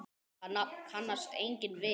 Það nafn kannast enginn við.